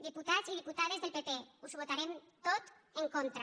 diputats i diputades del pp us ho votarem tot en contra